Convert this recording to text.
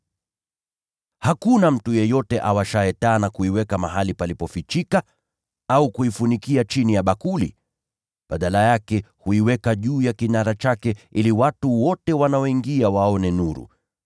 “Hakuna mtu yeyote awashaye taa na kuiweka mahali palipofichika au kuifunikia chini ya bakuli. Badala yake huiweka juu ya kinara chake, ili watu wote wanaoingia waone nuru.